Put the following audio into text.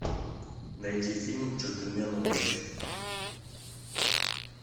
найди фильм джентльмены удачи